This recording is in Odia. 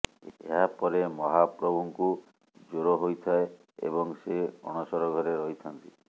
ଏହାପରେ ମହାପ୍ରଭୁଙ୍କୁ ଜ୍ୱର ହୋଇଥାଏ ଏବଂ ସେ ଅଣସର ଘରେ ରହିଥାନ୍ତି